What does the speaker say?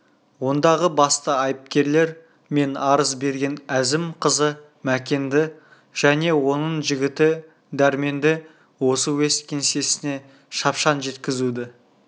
ондағы басты айыпкерлер мен арыз берген әзім қызы мәкенді және оның жігіті дәрменді осы уезд кеңсесіне шапшаң жеткізуді